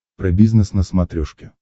про бизнес на смотрешке